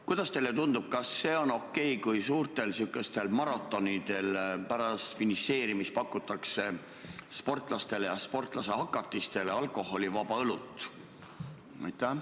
Kuidas teile tundub, kas see on okei, kui suurtel maratonidel pärast finišeerimist pakutakse sportlastele ja sportlasehakatistele alkoholivaba õlut?